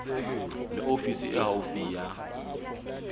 le ofisi e haufi ya